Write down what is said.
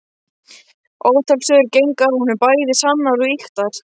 Ótal sögur gengu af honum, bæði sannar og ýktar.